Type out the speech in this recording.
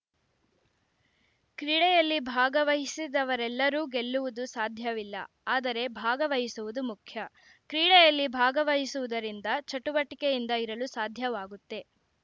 ಕ್ರೀಡೆಯಲ್ಲಿ ಭಾಗವಹಿಸಿದವರೆಲ್ಲರೂ ಗೆಲ್ಲುವುದು ಸಾಧ್ಯವಿಲ್ಲ ಆದರೆ ಭಾಗವಹಿಸುವುದು ಮುಖ್ಯ ಕ್ರೀಡೆಯಲ್ಲಿ ಭಾಗವಹಿಸುವುದರಿಂದ ಚಟುವಟಿಕೆಯಿಂದ ಇರಲು ಸಾಧ್ಯವಾಗುತ್ತೆ